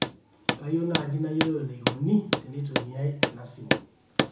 kayieu naaji nayolou eneikoni teneitumiaai ena simu